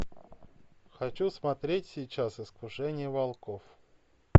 хочу смотреть сейчас искушение волков